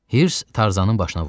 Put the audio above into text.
Hirs Tarzanın başına vurdu.